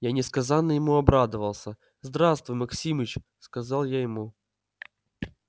я несказанно ему обрадовался здравствуй максимыч сказал я ему